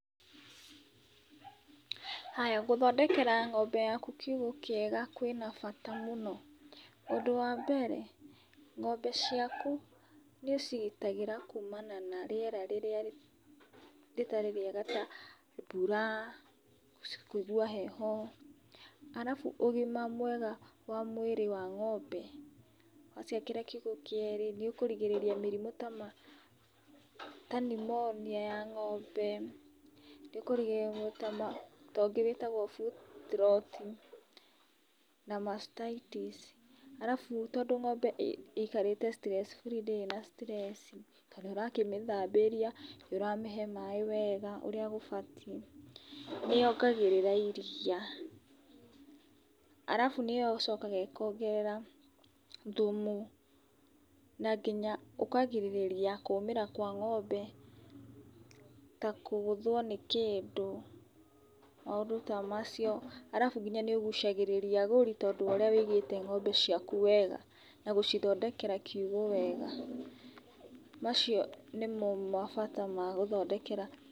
Haya gũthondekera ng'ombe yaku kiugũ kĩega kwĩ na bata mũno. Ũndũ wa mbere, ng'ombe ciaku nĩũcigitagĩra kumana na rĩera rĩrĩa rĩtarĩ rĩega ta mbura, kũigwa heho, arabu ũgima mwega wa mũĩrĩ wa ng'ombe. Waciakĩra kiugũ nĩ ũkũrigĩrĩria mĩrimũ ta nimonia ya ng'ombe, nĩũkũrigĩrĩria ta ũngĩ wĩtagwo foot rot, na mastitis, arabu tondũ ng'ombe ĩikarĩte stress-free ndĩrĩ na stress, na nĩũrakĩmĩthambĩria na nĩũrakĩmĩhe maaĩ wega ũrĩa gũbatiĩ, nĩ yongagĩrĩra iria, arabu nĩĩcokaga ĩkongerera thumu na nginya ũkagirĩrĩria kũũmĩra kwa ng'ombe, ta kũgũthwo nĩ kĩndũ, maũndũ ta macio. Arabu nginya nĩũgucagĩrĩria agũri, tondũ waũrĩa wĩigĩte ng'ombe ciaku wega na gũcithondekera kiugũ wega. Macio nĩ mo mabata magũthondekera.